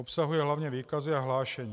Obsahuje hlavně výkazy a hlášení.